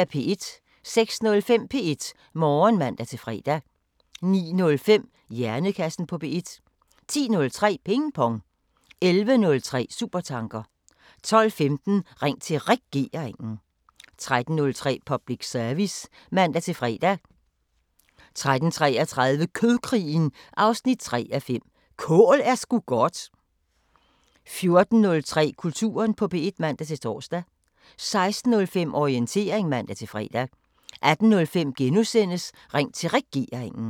06:05: P1 Morgen (man-fre) 09:05: Hjernekassen på P1 10:03: Ping Pong 11:03: Supertanker 12:15: Ring til Regeringen 13:03: Public Service (man-fre) 13:33: Kødkrigen 3:5 – Kål er sgu godt 14:03: Kulturen på P1 (man-tor) 16:05: Orientering (man-fre) 18:05: Ring til Regeringen *